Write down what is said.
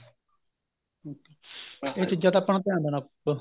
ਇਹ ਚੀਜ਼ਾਂ ਤਾਂ ਆਪਾਂ ਨੂੰ ਧਿਆਨ ਦੇਣਾ ਪਉਗਾ